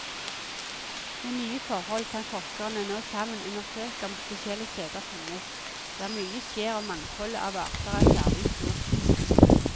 Med nye forhold kan forskerne nå sammen undersøke om spesielle steder finnes, der mye skjer og mangfoldet av arter er særlig stort.